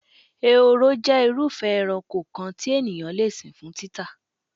Ehoro jé̩ irúfé̩̣ eranko kan tí ènìyàn le sìn fún títà.